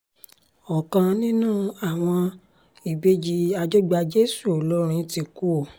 ọ̀kan nínú àwọn ìbejì àjọgbàjèṣù olórin ti kú o